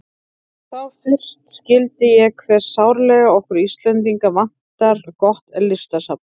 Þá fyrst skildi ég hve sárlega okkur Íslendinga vantar gott listasafn.